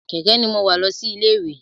Kẹ̀kẹ́ ní mo wa lọ sí ilé ìwé.